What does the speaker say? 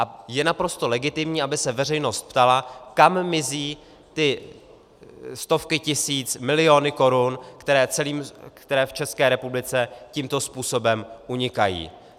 A je naprosto legitimní, aby se veřejnost ptala, kam mizí ty stovky tisíc, miliony korun, které v České republice tímto způsobem unikají.